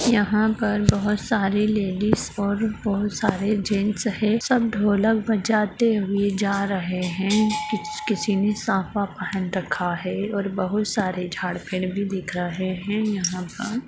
यहाँ पर बहुत सारे लेडिज और बहुत सारे जैंट्स है। सब ढोलक बजाते हुए जा रहे है। किस किसी ने साफा पहन रखा है और बहुत सारे झाड़ पेड़ भी दिख रहे है यहाँ पर |